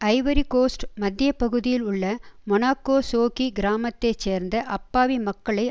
Ivory Coast மத்திய பகுதியில் உள்ள மொனாக்கோசோகி கிராமத்தை சேர்ந்த அப்பாவி மக்களை